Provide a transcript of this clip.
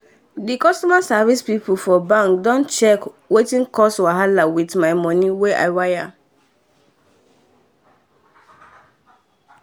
dem customer service pipu for bank don check wetin cause wahala with my money wey i wire.